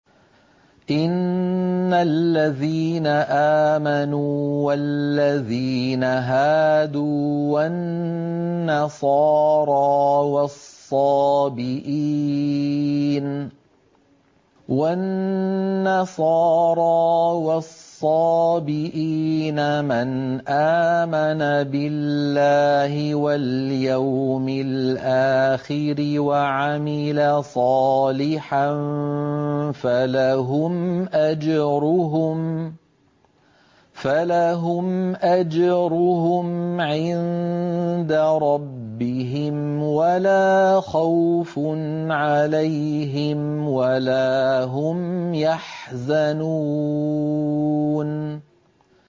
إِنَّ الَّذِينَ آمَنُوا وَالَّذِينَ هَادُوا وَالنَّصَارَىٰ وَالصَّابِئِينَ مَنْ آمَنَ بِاللَّهِ وَالْيَوْمِ الْآخِرِ وَعَمِلَ صَالِحًا فَلَهُمْ أَجْرُهُمْ عِندَ رَبِّهِمْ وَلَا خَوْفٌ عَلَيْهِمْ وَلَا هُمْ يَحْزَنُونَ